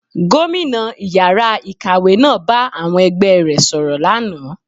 Gómìnà ìyára ikáwe náà bá àwọn ẹgbẹ e rẹ̀ sọ̀rọ̀ lánàá